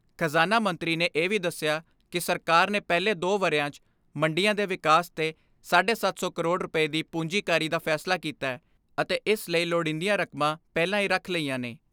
ਖਜ਼ਾਨਾ ਮੰਤਰੀ ਨੇ ਇਹ ਵੀ ਦਸਿਆ ਕਿ ਸਰਕਾਰ ਨੇ ਪਹਿਲੇ ਦੋ ਵਰਿਆ 'ਚ ਮੰਡੀਆਂ ਦੇ ਵਿਕਾਸ ਤੇ ਸੱਤ ਸੌ ਪੰਜਾਹ ਕਰੋੜ ਰੁਪਏ ਦੀ ਪੂੰਜੀਕਾਰੀ ਦਾ ਫੈਸਲਾ ਕੀਤੈ ਅਤੇ ਇਸ ਲਈ ਲੋੜੀਂਦੀਆਂ ਰਕਮਾਂ ਪਹਿਲਾਂ ਹੀ ਰੱਖ ਲਈਆਂ ਨੇ।